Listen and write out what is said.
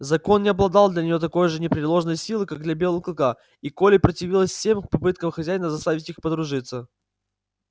закон не обладал для неё такой же непреложной силой как для белого клыка и колли противилась всем попыткам хозяина заставить их подружиться